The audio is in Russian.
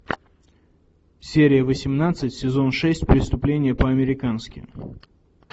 серия восемнадцать сезон шесть преступление по американски